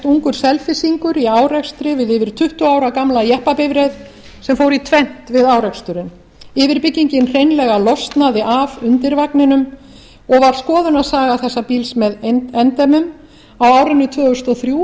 ungur selfyssingur í árekstri við yfir tuttugu ára gamla jeppabifreið sem fór í tvennt við áreksturinn yfirbyggingin hreinlega losnaði af undirvagninum og var skoðunarsaga þessa bíls með endemum á árinu tvö þúsund og þrjú